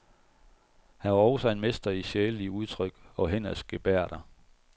Han var også en mester i sjælelige udtryk og hænders gebærder.